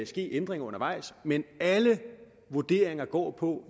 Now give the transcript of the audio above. ske ændringer undervejs men alle vurderinger går på